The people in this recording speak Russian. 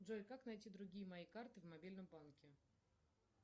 джой как найти другие мои карты в мобильном банке